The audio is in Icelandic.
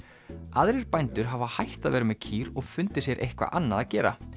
aðrir bændur hafa hætt að vera með kýr og fundið sér eitthvað annað að gera